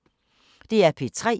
DR P3